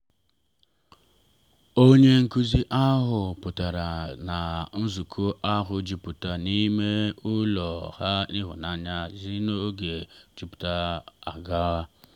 onye nkuzi ochie pụtara na nzukọ ahụ jupụta n’ime ụlọ na ịhụnanya si n’oge gara aga.